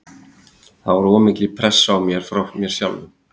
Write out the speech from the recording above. Það var of mikil pressa á mér frá mér sjálfum.